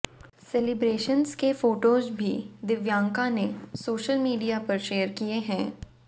celebrations के photos भी दिव्यांका ने सोशल मीडिया पर शेयर किए हैं